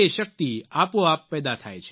શક્તિ આપોઆપ પેદા થાય છે